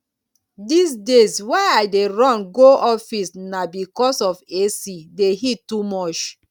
dis days why i dey run go office na because of ac the heat too much